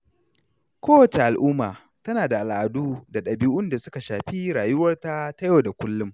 Kowacce al’umma tana da al’adu da ɗabi’un da suka shafi rayuwarta ta yau da kullum.